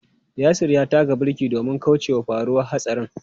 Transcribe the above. Yasir ya taka birki domin kaucewa faruwar hatsarin.